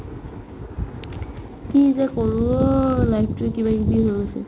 কি যে কৰো ঐ life তো কিবাকিবি হৈ গৈছে